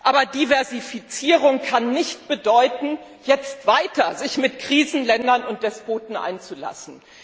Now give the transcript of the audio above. Aber Diversifizierung kann nicht bedeuten, sich jetzt weiter mit Krisenländern und Despoten einzulassen.